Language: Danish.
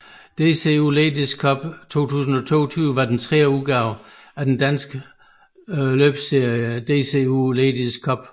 DCU Ladies Cup 2022 var den tredje udgave af den danske løbsserie DCU Ladies Cup